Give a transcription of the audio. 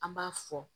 An b'a fɔ